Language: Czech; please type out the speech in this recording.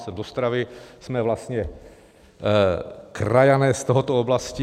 Jsem z Ostravy, jsme vlastně krajané z této oblasti.